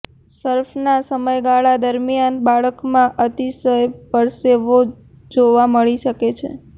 સર્ફના સમયગાળા દરમિયાન બાળકમાં અતિશય પરસેવો જોવા મળી શકે છે